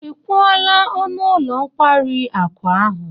Ị kwụọla ọnụ ụlọ nkwari akụ ahụ?